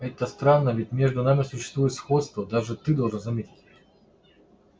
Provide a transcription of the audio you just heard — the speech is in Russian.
это странно ведь между нами существует сходство даже ты должен заметить